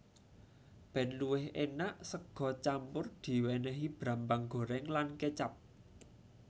Ben luwih enak sega campur diwenehi brambang goreng lan kecap